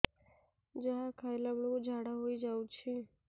ଯାହା ଖାଇଲା ବେଳକୁ ଝାଡ଼ା ହୋଇ ଯାଉଛି